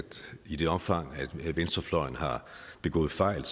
i det omfang venstrefløjen har begået fejl er